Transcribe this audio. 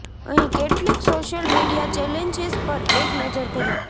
અહીં કેટલીક social media challenges પર એક નજર કરીએ